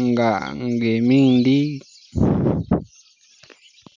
-nga -nga imindi